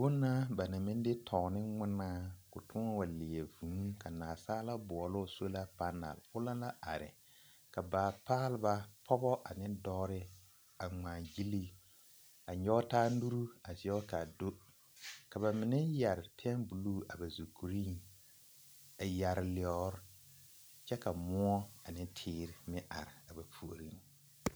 Bonna banaŋ maŋ de too ne ŋmenaa k'o toɔ wa leɛ vūū ka naasaalaa boɔloo sola panɛl o na la are ka baapaalba pɔge ane dɔɔre a ŋmaa gyili a nyɔge taa nuru a zɛge k'a do ka bamine yɛre pɛmbuluu a ba zukuriŋ, a yɛre lɔɔre kyɛ ka moɔ ane teere meŋ are a ba puoriŋ.